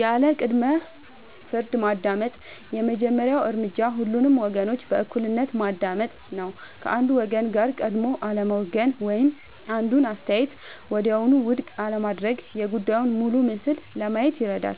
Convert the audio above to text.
ያለ ቅድመ-ፍርድ ማዳመጥ የመጀመሪያው እርምጃ ሁሉንም ወገኖች በእኩልነት ማዳመጥ ነው። ከአንዱ ወገን ጋር ቀድሞ አለመወገን ወይም አንዱን አስተያየት ወዲያውኑ ውድቅ አለማድረግ የጉዳዩን ሙሉ ምስል ለማየት ይረዳል።